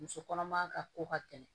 Muso kɔnɔma ka ko ka gɛlɛn